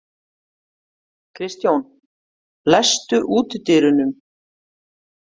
Kristjón, læstu útidyrunum.